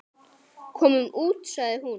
Komum út, sagði hún.